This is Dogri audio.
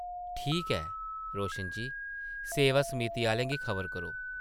ठीक ऐ रोशन जी ! सेवा-समिति आह्लें गी खबर करो ।